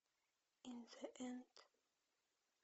ин зе энд